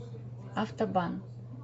автобан